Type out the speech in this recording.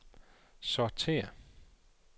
sortér